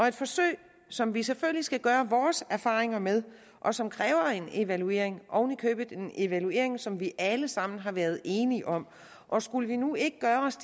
et forsøg som vi selvfølgelig skal gøre vores erfaringer med og som kræver en evaluering oven i købet en evaluering som vi alle sammen har været enige om og skulle vi nu ikke gøre os